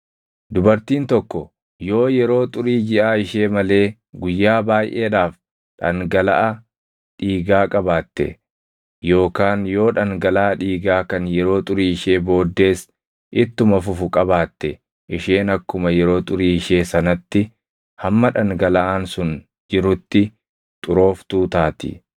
“ ‘Dubartiin tokko yoo yeroo xurii jiʼaa ishee malee guyyaa baayʼeedhaaf dhangalaʼa dhiigaa qabaatte yookaan yoo dhangalaʼa dhiigaa kan yeroo xurii ishee booddees ittuma fufu qabaatte isheen akkuma yeroo xurii ishee sanatti hamma dhangalaʼaan sun jirutti xurooftuu taati.